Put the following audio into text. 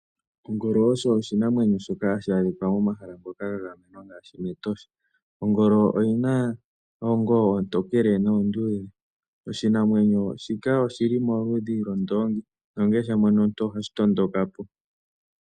Ongolo oyo oshinamwenyo shoka hashi adhika momahala ngoka gagamenwa ngaashi mEtosha. Ongolo oyi na oongolo oontokele noonduudhe. Oshinamwenyo shika oshili molupe lwondoongi nongele sha mono omuntu ohashi tondoka po.